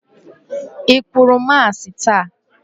I kwuru Masị taa?